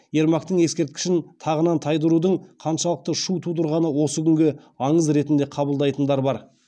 ермактың ескерткішін тағынан тайдырудың қаншалықты шу тудырғанын осы күні аңыз ретінде қабылдайтындар бар